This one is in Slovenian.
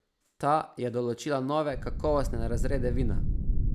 Ta je določila nove kakovostne razrede vina.